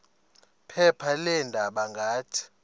phepha leendaba ngathi